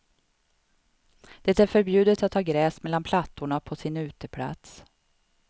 Det är förbjudet att ha gräs mellan plattorna på sin uteplats.